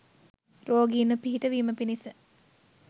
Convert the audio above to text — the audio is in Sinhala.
රෝගීන්ට පිහිටවීම පිණිස